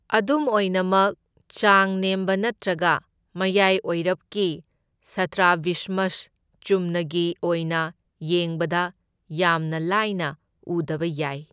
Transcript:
ꯑꯗꯨꯝ ꯑꯣꯏꯅꯃꯛ, ꯆꯥꯡ ꯅꯦꯝꯕ ꯅꯠꯇ꯭ꯔꯒ ꯃꯌꯥꯢ ꯑꯣꯢꯔꯞꯀꯤ ꯁꯇ꯭ꯔꯥꯕꯤꯁꯃꯁ ꯆꯨꯝꯅꯒꯤ ꯑꯣꯏꯅ ꯌꯦꯡꯕꯗ ꯌꯥꯝꯅ ꯂꯥꯏꯅ ꯎꯗꯕ ꯌꯥꯏ꯫